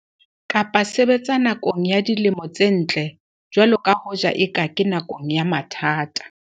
Kapa sebetsa nakong ya dilemo tse ntle jwalo ka hoja eka ke nakong ya mathata.